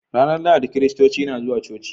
Ranar Lahadi Kiristoci na zuwa coci.